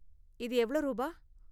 இது எவ்ளோ ரூபா?